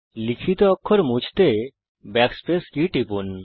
লিখিত অক্ষর মুছতে Backspace কী টিপুন